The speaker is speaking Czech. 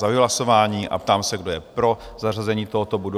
Zahajuji hlasování a ptám se, kdo je pro zařazení tohoto bodu?